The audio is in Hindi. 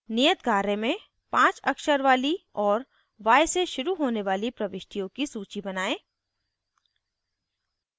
नियत कार्य में 5 अक्षर वाली और y से शुरू होने वाली प्रविष्टियों की सूची बनायें